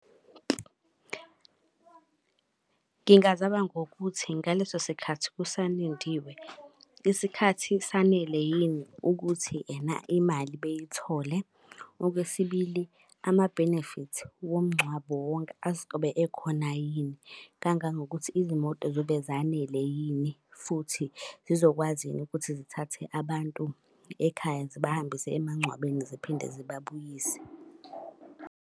Ngingazama ngokuthi ngaleso sikhathi kusalindiwe, isikhathi sanele yini ukuthi ena imali beyithole. Okwesibili, ama-benefits womngcwabo wonke azobe ekhona yini? Kangangokuthi izimoto zobe zanele yini futhi zizokwazi yini ukuthi zithathe abantu ekhaya zibahambise emangcwabeni ziphinde zibabuyise.